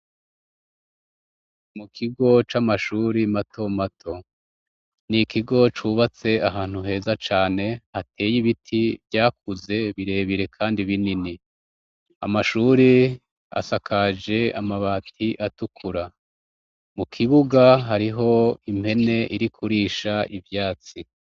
Mu kigo c'amashuri mato mato ni ikigo cubatse ahantu heza cane hateye ibiti vyakuze birebire, kandi binini amashure asakaje amabati atukura mu kibuga hariho impene iri kurisha ca ivyatsi.